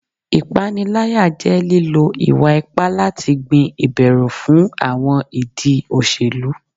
Ipanilaya jẹ lilo iwa-ipa lati gbin iberu fun awọn idi oselu